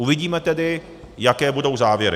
Uvidíme tedy, jaké budou závěry.